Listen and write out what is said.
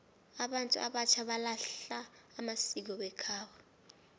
abantu abatjha balahla amasiko wekhabo